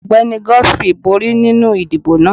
Ọgbẹni Godfrey bori ninu idibo naa.